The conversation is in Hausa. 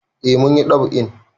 Eh mun yi ɗab'in.